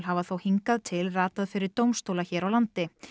hafa þó hingað til ratað fyrir dómstóla hér á landi